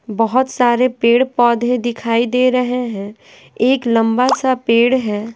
बहुत सारे पेड़-पौधे दिखाई दे रहे हैं एक लंबा सा पेड़ है।